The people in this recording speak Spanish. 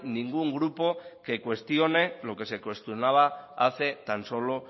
ningún grupo que cuestione lo que se cuestionaba hace tan solo